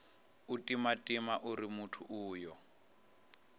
u timatima uri muthu uyo